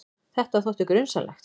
Þetta þótti grunsamlegt.